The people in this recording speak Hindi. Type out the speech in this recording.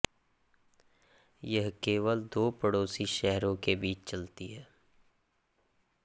यह केवल दो पड़ोसी शहरों के बीच चलती है